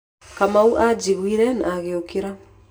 Kamau anjiguire na agĩũkĩra.